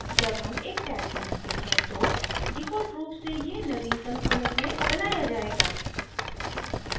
जब हम एक tag बनाते हैं तो default रूप से यह नवीनतम commit में बनाया जाएगा